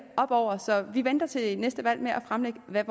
op over så vi venter til næste valg med at fremlægge hvad